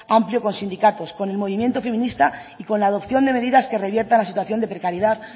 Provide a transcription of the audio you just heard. amplio con sindicatos con el movimiento feminista y con la adopción de medidas que revierta la situación de precariedad